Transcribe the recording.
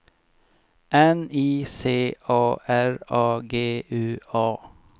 N I C A R A G U A